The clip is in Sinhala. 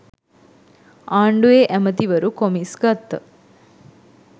ආණ්ඩුවෙ ඇමතිවරු කොමිස් ගත්ත